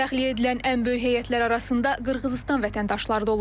Təxliyə edilən ən böyük heyətlər arasında Qırğızıstan vətəndaşları da olub.